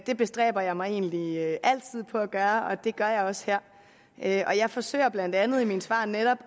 det bestræber jeg mig egentlig altid på at gøre og det gør jeg også her her jeg forsøger blandt andet i mine svar netop